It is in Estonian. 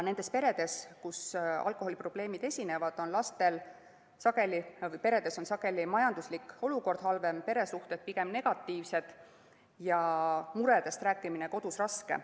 Nendes peredes, kus alkoholiprobleemid esinevad, on majanduslik olukord sageli halvem, peresuhted pigem negatiivsed ja muredest rääkimine kodus raske.